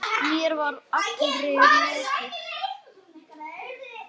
Mér var allri lokið.